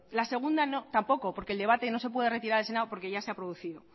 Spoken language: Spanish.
la segunda tampoco porque el debate no se puede retirar el senado porque ya se ha producido